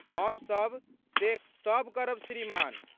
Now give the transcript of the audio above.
हमसब से सब करब श्रीमान।